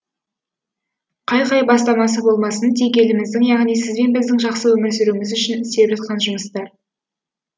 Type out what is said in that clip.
қай қай бастамасы болмасын тек еліміздің яғни сіз бен біздің жақсы өмір сүруіміз үшін істеліп жатқан жұмыстар